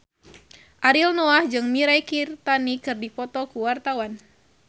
Ariel Noah jeung Mirei Kiritani keur dipoto ku wartawan